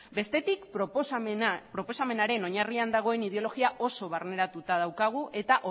bestetik proposamenaren oinarrian dagoen ideologia oso barneratuta daukagu eta